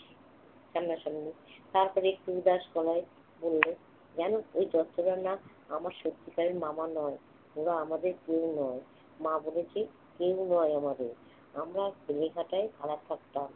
সামনাসামনি। তারপর একটু উদাস গলায় বলল, জান ওই দত্তরা না আমার সত্যিকারের মামা নয়। ওরা আমাদের কেউ নয়। মা বলেছে, কেউ নয় আমাদের। আমরা বেলেঘাটায় ভাড়া থাকতাম।